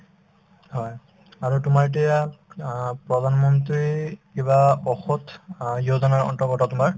হয়, আৰু তোমাৰ এতিয়া অ প্ৰধানমন্ত্ৰী কিবা ঔষধ অ য়োজনাৰ অন্তৰ্গত তোমাৰ